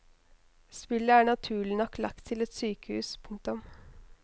Spillet er naturlig nok lagt til et sykehus. punktum